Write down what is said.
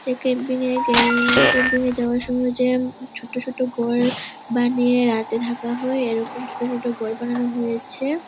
এই ক্যাম্পিনে গেল ক্যাম্পিনে যাওয়ার সময় জ্যাম। ছোট ছোট ঘর বানিয়ে রাতে থাকা হয় এরকম ছোট ছোট ঘর বানানো হয়েছে।